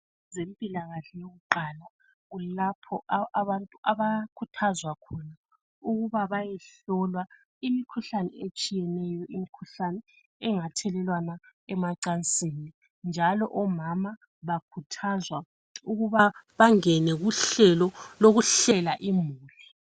Ezempilakahle yokuqala kulapho abantu abakhuthazwa khona ukuba bayehlolwa imikhuhlane etshiyeneyo ethelelwana emacansini njalo omama bakhuthazwa ukuba bangene kuhlelo lokuhlela imuli.